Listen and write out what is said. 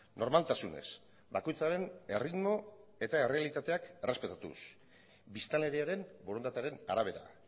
normaltasunez bakoitzaren erritmo eta errealitateak errespetatuz biztanleriaren borondatearen arabera